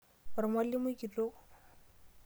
Ormwalimui kitok.